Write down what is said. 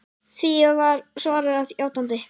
Því var svarað játandi.